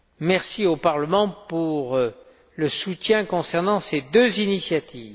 Merci au Parlement pour son soutien concernant ces deux initiatives.